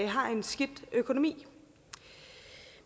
har en skidt økonomi